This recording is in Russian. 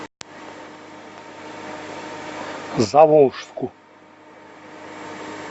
заволжску